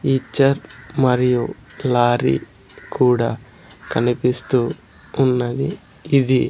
ఈచర్ మరియు లారీ కూడా కనిపిస్తూ ఉన్నది ఇది.